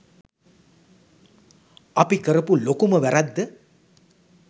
අපි කරපු ලොකුම වැරැද්ද